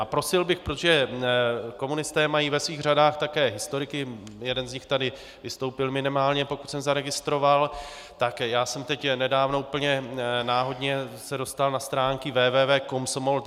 A prosil bych, protože komunisté mají ve svých řadách také historiky, jeden z nich tady vystoupil minimálně, pokud jsem zaregistroval, tak já jsem teď nedávno úplně náhodně se dostal na stránky www.komsomol.cz.